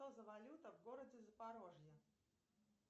что за валюта в городе запорожье